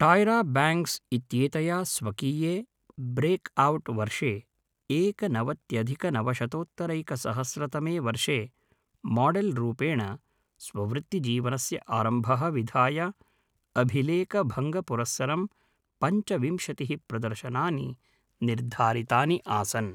टायरा Banks इत्येतया स्वकीये breakout वर्षे एकनवत्यधिकनवशतोत्तरैकसहस्रतमे वर्षे माडेल् रूपेण स्ववृत्तिजीवनस्य आरम्भः विधाय अभिलेखभङ्गपुरस्सरं पञ्चविंशतिः प्रदर्शनानि निर्धारितानि आसन्।